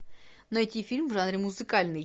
найти фильм в жанре музыкальный